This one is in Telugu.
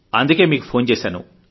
అందుకే మీకు ఫోన్ చేశాను